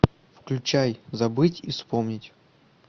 включай забыть и вспомнить